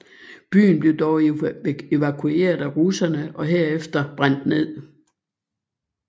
Byen blev dog evakueret af russerne og herefter brændt ned